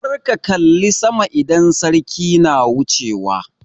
Kar ka kalla sama idan sarki na wuchewa!